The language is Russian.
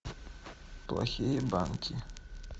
плохие банки